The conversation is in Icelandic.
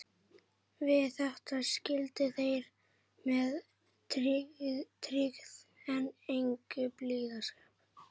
Við þetta skildu þeir með styggð en engum blíðskap.